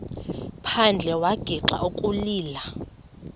phandle wagixa ukulila